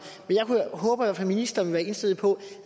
håber at ministeren vil være indstillet på